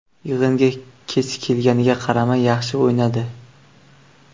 Yig‘inga kech kelganiga qaramay yaxshi o‘ynadi.